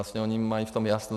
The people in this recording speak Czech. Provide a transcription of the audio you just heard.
A oni mají v tom jasno.